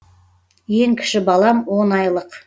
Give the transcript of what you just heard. ең кіші балам он айлық